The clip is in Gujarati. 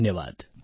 ધન્યવાદ